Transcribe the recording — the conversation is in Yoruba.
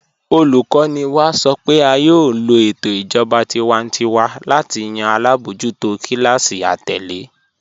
Olùkọ́ni wá sọ́ pé á yóò lọ̀ ètò ìjọba tìwántíwà láti yàn alábojútò kílásí àtẹ̀lẹ̀.